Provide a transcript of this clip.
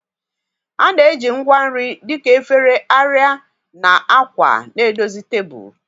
A na-eji ngwa nri dị ka efere, arịa, na akwa na-edozi tebụl.